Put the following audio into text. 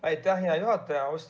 Aitäh, hea juhataja!